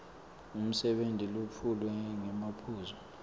umsebenti wetfulwe ngemaphuzu